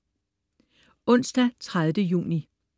Onsdag den 30. juni